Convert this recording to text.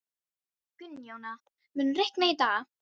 Gunnjóna, mun rigna í dag?